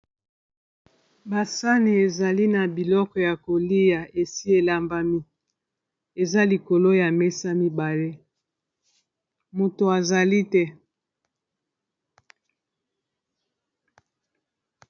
Ba sani ezali na biloko ya kolia esi elambami eza likolo ya mesa mibale moto azali te.